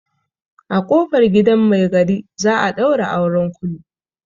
A ƙofar gidan mai gari za a ɗaura auren kulu.